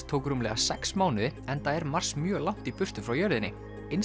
tók rúmlega sex mánuði enda er Mars mjög langt í burtu frá jörðinni